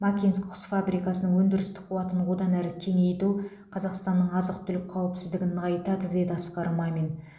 макинск құс фабрикасының өндірістік қуатын одан әрі кеңейту қазақстанның азық түлік қауіпсіздігін нығайтады деді асқар мамин